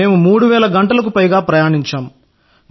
మేము 3000 గంటలకు పైగా ప్రయాణించాము